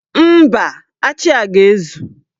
Mba, achị a ga-ezu.